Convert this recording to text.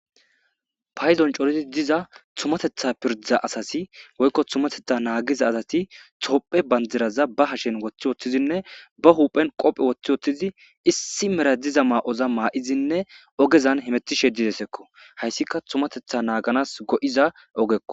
payzon coridi diza tumatetha pirda asasi woykko tumatetha naagiza asati tophe bandiraza ba hashen woththi wotthizinne ba huphen qophe woththi woththizi issi mera diza maa7oza maa7izinne ogezan hemetishe didesekko hayssika tumatetha naaganas go7iza ogekko